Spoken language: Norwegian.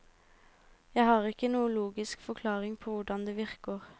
Jeg har ikke noen logisk forklaring på hvordan det virker.